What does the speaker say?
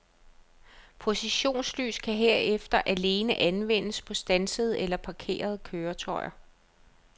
Positionslys kan herefter alene anvendes på standsede eller parkerede køretøjer.